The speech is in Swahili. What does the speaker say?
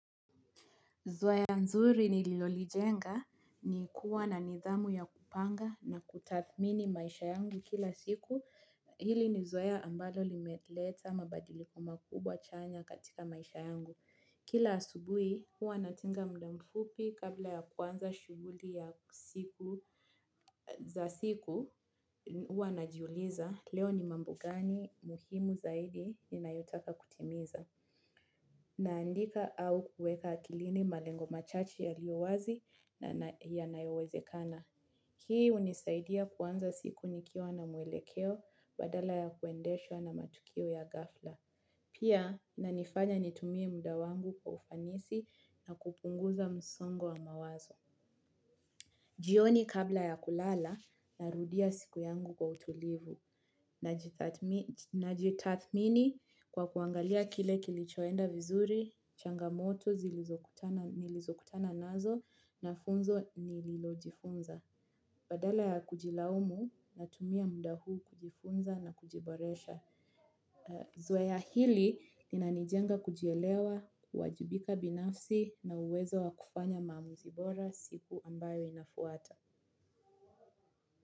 Zoea nzuri nililolijenga ni kuwa na nidhamu ya kupanga na kutathmini maisha yangu kila siku hili ni zoea ambali limeleta mabadiliko makubwa chanya katika maisha yangu kila asubuhi huwa natenga muda mfupi kabla ya kuanza shughuli ya siku za siku huwa najiuliza leo ni mambo gani muhimu zaidi ninayotaka kutimiza. Naandika au kuweka akilini malengo machache yaliyowazi na yanayowezekana. Hii hunisaidia kuanza siku nikiwa na mwelekeo badala ya kuendeshwa na matukio ya ghafla. Pia inanifanya nitumie muda wangu kwa ufanisi na kupunguza msongo wa mawazo. Jioni kabla ya kulala narudia siku yangu kwa utulivu. Najitathmini kwa kuangalia kile kilichoenda vizuri changamoto nilizokutana nazo na funzo nililojifunza. Badala ya kujilaumu, natumia muda huu kujifunza na kujiboresha. Zoea hili, linanijenga kujielewa, kuwajibika binafsi na uwezo wa kufanya maamuzi bora siku ambayo inafuata.